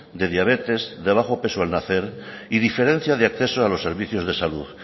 de diabetes de bajo peso al nacer y diferencia de acceso a los servicios de salud